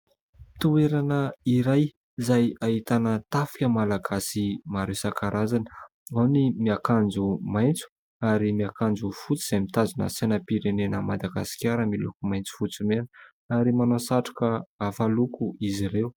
Toerana iray izay ahitana tafika Malagasy maro isankarazany, ao ny miakanjo maitso ary miakanjo fotsy izay mitazona sainam-pirenena an'i Madagasikara miloko maitso, fotsy, mena ary manao satroka hafa loko izy ireo.